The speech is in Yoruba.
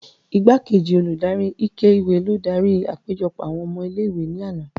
Igbakeji oludari ike-iwe lo dari apejọ awọn ọmọ ìlé-ìwé ni ana.